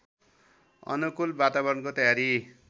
अनुकूल वातावरणको तयारी